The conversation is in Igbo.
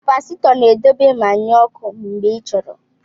Kapasitọ na-edobe ma nye ọkụ mgbe ị chọrọ.